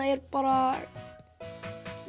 er bara